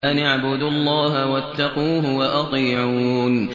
أَنِ اعْبُدُوا اللَّهَ وَاتَّقُوهُ وَأَطِيعُونِ